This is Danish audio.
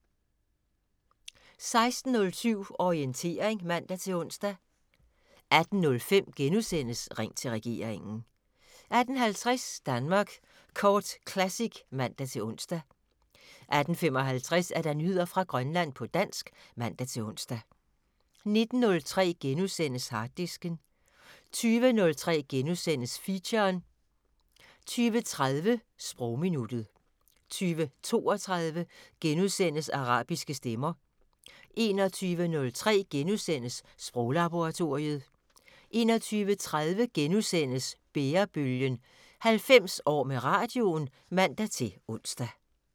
16:07: Orientering (man-ons) 18:05: Ring til regeringen * 18:50: Danmark Kort Classic (man-ons) 18:55: Nyheder fra Grønland på dansk (man-ons) 19:03: Harddisken * 20:03: Feature * 20:30: Sprogminuttet 20:32: Arabiske stemmer * 21:03: Sproglaboratoriet * 21:30: Bærebølgen – 90 år med radioen *(man-ons)